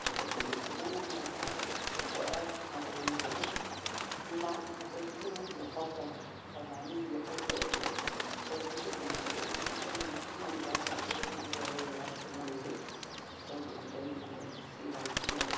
tũcoke twĩnyitĩrĩre na moko, tũkoya magũrũ igũru, na andũ aingĩ matiahotaga, o na niĩ ndiahotete, ndaiguire ũndũ ũcio ũrĩ mũritũ mũno no nĩ ndacokire ngĩigua wega mwĩrĩ nĩ tondũ nĩ ndaiguire ciĩga nĩ ciarekania.